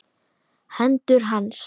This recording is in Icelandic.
Hendur hans.